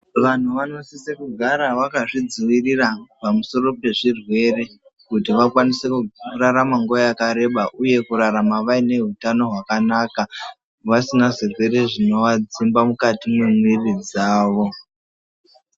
Vanhu vanosise kugara vakaZvidzivirira pamusoro pezvirwere kuti vakwanise kurarama nguwa yakareba uye kurarama vaine utano hwakanaka vasina zvirwere zvinoadzimba mukati mwemiri dzawo.